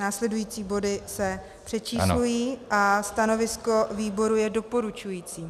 Následující body se přečíslují a stanovisko výboru je doporučující.